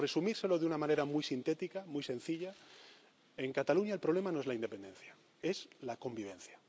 años. Por resumírselo de una manera muy sintética, muy sencilla, en Cataluña el problema no es la independencia, es la convivencia.